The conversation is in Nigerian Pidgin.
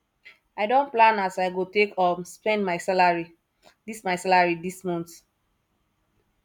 i don plan as i go take um spend my salary dis my salary dis month